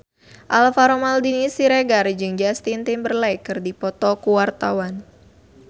Alvaro Maldini Siregar jeung Justin Timberlake keur dipoto ku wartawan